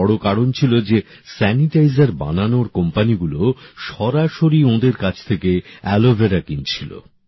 এর একটি বড় কারণ ছিল যে স্যানিটাইজার বানানোর কোম্পানিগুলো সরাসরি ওনাদের কাছ থেকে অ্যালোভেরা কিনছিল